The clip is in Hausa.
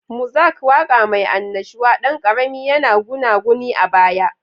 Muzak, waƙa mai annashuwa, ɗan ƙarami, yana gunaguni a baya.